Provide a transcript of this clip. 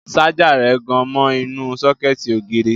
Ṣájà rẹ̀ gan mọ inú sọ́kẹ̀tì ògiri